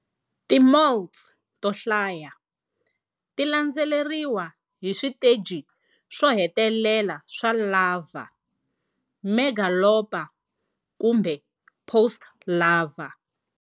Ti moults to hlaya ti landzeriwa hi switeji swohetelela swa larval, megalopa kumbe post-larva